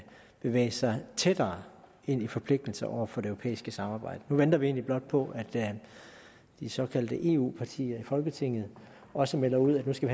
bevæge sig tættere ind i forpligtelser over for det europæiske samarbejde nu venter vi egentlig blot på at de såkaldte eu partier i folketinget også melder ud at nu skal